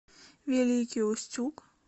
великий устюг